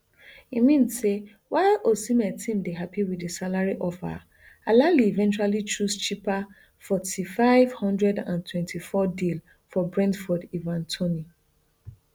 e mean say while osimhen team dey happy wit di salary offer alahli eventually choose cheaper forty five hundred and twenty-fourm deal for brentford ivan toney